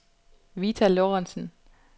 Vita Lorentsen